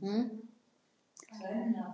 Linda: